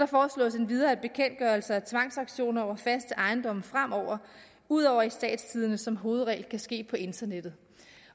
foreslås endvidere at bekendtgørelser af tvangsauktioner over fast ejendom fremover ud over i statstidende som hovedregel kan ske på internettet